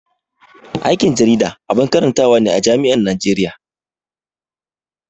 Aikin jarida abun karantawa ne a jami'an Najeriya.